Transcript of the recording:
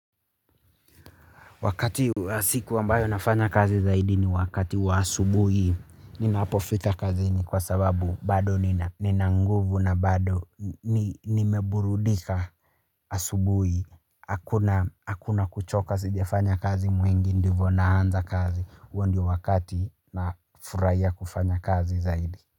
Wakati siku wambayo nafanya kazi zaidi ni wakati wa asubuhi, ninapofika kazini kwa sababu bado nina nguvu na bado nimeburudika asubuhi, hakuna kuchoka sijefanya kazi mwingi ndivo naanza kazi, uo ndiyo wakati na furaia kufanya kazi zaidi.